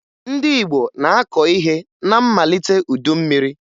Ndị Igbo na-akọ ihe na mmalite udu mmiri